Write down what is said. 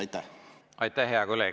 Aitäh, hea kolleeg!